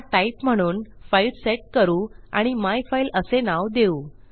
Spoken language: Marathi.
हा टाइप म्हणून फाइल सेट करू आणि मायफाईल असे नाव देऊ